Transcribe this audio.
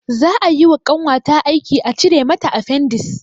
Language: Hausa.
Za ayi wa ƙanwata aiki a cire mata afendis